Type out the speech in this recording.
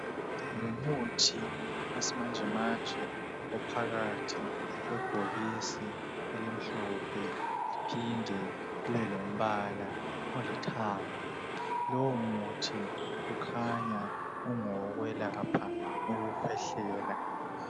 Umuthi wesimanjemanje ophakathi kwebhokisi elimhlophe liphinde libe lombala olithanga. Lowomuthi kukhanya ungowokwelapha ukukhwehlela.